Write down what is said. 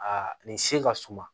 A nin se ka suma